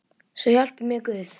Svo hjálpi mér Guð.